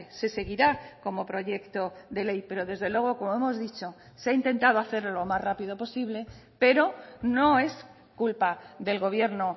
se seguirá como proyecto de ley pero desde luego como hemos dicho se ha intentado hacer lo más rápido posible pero no es culpa del gobierno